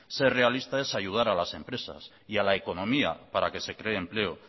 ser realista es ayudar a las empresas y a la economía para que se cree empleo